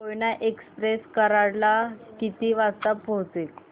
Koyna express Karad ला किती वाजता पोहचेल